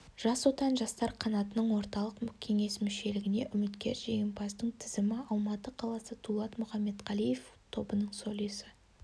жас отан жастар қанатының орталық кеңес мүшелігіне үміткер жеңімпаздың тізімі алматы қаласы дулат мұхаметқалиев тобының солисі